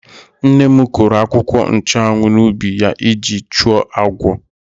Nne m kụrụ akwụkwọ nchụ́anwu n'ubi ya iji chụọ agwọ.